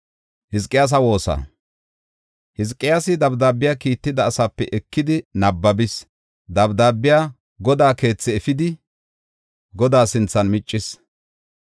Hizqiyaasi dabdaabiya kiitetida asaape ekidi nabbabis. Dabdaabiya Godaa keethi efidi Godaa sinthan miccis.